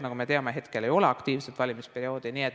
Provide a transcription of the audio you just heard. Nagu me teame, hetkel ei ole aktiivset valimisperioodi.